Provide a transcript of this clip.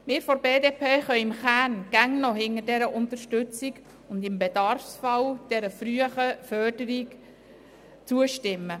Wir von der BDP können im Kern immer noch zu dieser Unterstützung stehen und im Bedarfsfall der frühen Förderung zustimmen.